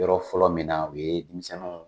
Yɔrɔ fɔlɔ min na o ye denmisɛnninw